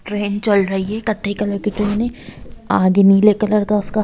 train चल रही है कत्थई कलर की ट्रेन है आगे नीले कलर का उसका --